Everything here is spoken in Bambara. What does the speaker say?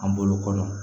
An bolo kɔrɔ